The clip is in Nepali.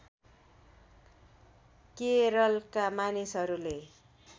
केरलका मानिसहरूले